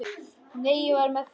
Nei, ég var með þeim.